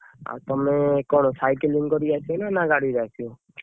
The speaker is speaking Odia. ଆଉ ତମେ କଣ cycling କରିକି ଆସିବ ନା ଗାଡି ରେ ଆସିବ?